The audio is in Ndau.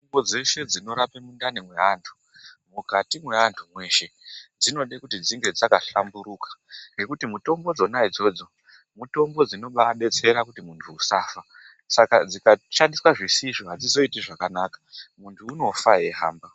Mitombo dzeshe dzinorape mundani mewandu mukati mwewandu mweshe dzinoda kuti dzine dzakahlamburuka nekuti mitombo dzona idzodzo mitombo dzinobetsera kuti mundu usafa saka dzikashandiswa zvisizvo mundu hazoiti zvakanaka mundu unofa weyihamba.